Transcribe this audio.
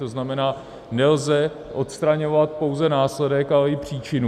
To znamená, nelze odstraňovat pouze následek, ale i příčinu.